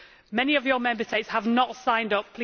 Many of your Member States have not signed up.